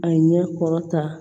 A ɲɛ kɔrɔ ta